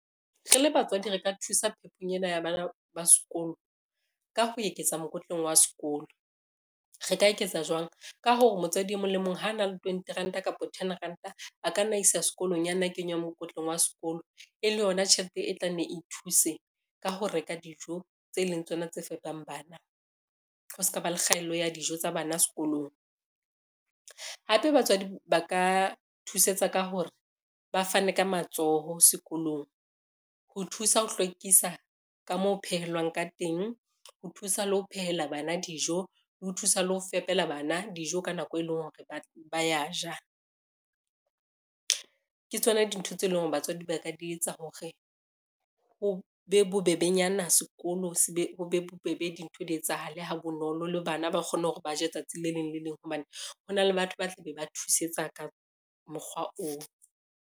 Re le batswadi re ka thusa phepong ena ya bana ba sekolo ka ho eketsa mokotleng wa sekolo. Re ka eketsa jwang, ka hore motswadi e mong le mong ho na le twenty ranta kapa ten ranta, a ka nna isa sekolong ya nna kenywa mokotleng wa sekolo e le yona tjhelete e tla nne e thuse ka ho reka dijo tse leng tsona tse fepang bana, ho ska ba le kgaello ya dijo tsa bana sekolong. Hape batswadi ba ka thusetsa ka hore ba fane ka matsoho sekolong, ho thusa ho hlwekisa ka moo phehelwang ka teng, ho thusa le ho phehela bana dijo le ho thusa le ho fepela bana dijo ka nako e leng hore ba ya ja. Ke tsona dintho tse leng hore batswadi ba ka di etsa hore ho be bobebenyana sekolo ho be bobebe dintho di etsahale ha bonolo, le bana ba kgone hore ba je tsatsi le leng le leng hobane ho na le batho ba tla be ba thusetsa ka mokgwa oo.